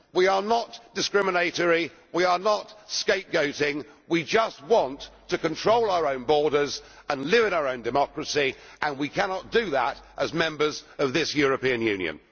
We are not discriminatory, we are not scapegoating, we just want to control our own borders and live in our own democracy and we cannot do that as members of this European Union.